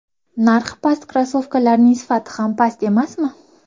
Narxi past krossovkalarning sifati ham past emasmi?.